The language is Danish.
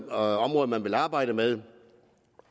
områder man vil arbejde med